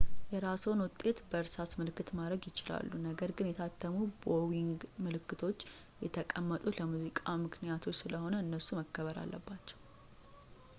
የራስዎን ውጤት በእርሳስ ምልክት ማድረግ ይችላሉ ነገር ግን የታተሙ ቦዊንግ ምልክቶች የተቀመጡት ለሙዚቃ ምክንያቶች ስለሆነም እነሱ መከበር አለባቸው